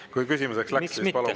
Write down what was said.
Kui küsimiseks läks, siis palun!